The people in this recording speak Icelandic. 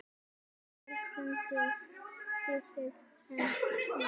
Óskar frændi að stríða henni.